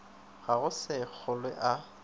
ka go se kgolwe a